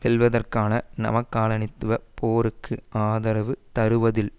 வெல்வதற்கான நவ காலனித்துவ போருக்கு ஆதரவு தருவதில்